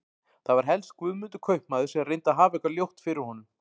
Það var helst Guðmundur kaupmaður sem reyndi að hafa eitthvað ljótt fyrir honum.